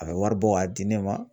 A bɛ wari bɔ ka di ne ma.